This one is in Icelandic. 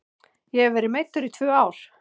Ég hef verið meiddur í tvö ár.